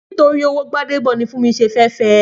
Nítorí owó Gbádébọ̀ ni Fúnmi ṣe fẹ́ fẹ